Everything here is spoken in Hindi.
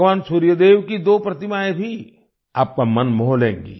भगवान सूर्य देव की दो प्रतिमाएं भी आपका मन मोह लेंगी